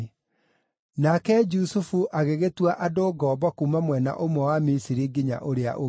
Nake Jusufu agĩgĩtua andũ ngombo kuuma mwena ũmwe wa Misiri nginya ũrĩa ũngĩ.